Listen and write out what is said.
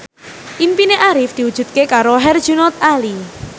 impine Arif diwujudke karo Herjunot Ali